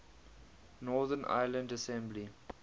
northern ireland assembly